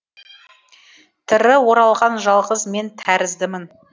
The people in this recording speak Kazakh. тірі оралған жалғыз мен тәріздімін